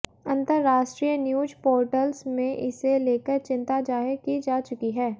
अंतरराष्ट्रीय news portals में इसे लेकर चिंता ज़ाहिर की जा चुकी है